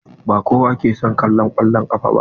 Ba kowa ke son kallo kwallan kafa ba.